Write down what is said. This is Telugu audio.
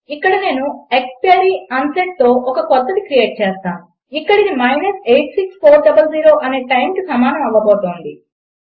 ఇక్కడ నేను ëxp unsetతో ఒక క్రొత్తది క్రియేట్ చేస్తాను ఇక అది మైనస్ 86400 అనే టైమ్కి సమానం అవ్వబోతోంది